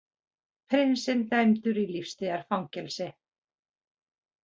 Prinsinn dæmdur í lífstíðar fangelsi